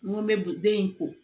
N ko n bɛ den in ko